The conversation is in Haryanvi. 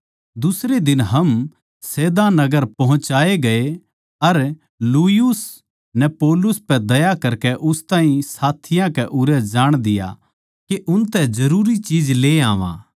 दुसरे दिन हम सैदा नगर पोह्चाये गये अर यूलियुस नै पौलुस पै दया करकै उस ताहीं साथियाँ कै उरै जाण दिया के उनतै जरूरी चीज ले आवां